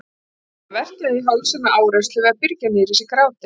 Hann verkjaði í hálsinn af áreynslu við að byrgja niður í sér grátinn.